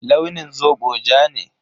Launin zobo ja ne.